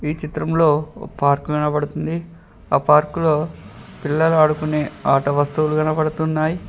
ఈ చిత్రంలో ఒక పార్కు కనబడుతుంది ఆ పార్కు లో పిల్లలు ఆడుకునే ఆట వస్తువులు కనపడుతున్నాయి.